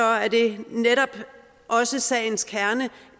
er det netop også sagens kerne